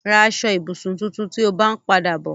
Ra aṣọ-ìbùsùn tuntun tí o bá ń padà bọ̀.